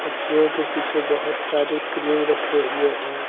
Chair के पीछे बहुत सारे क्रीम रखे हुए हैं।